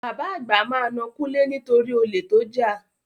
Bàbá àgbà máa na Kúnlé nitori olè tó jà.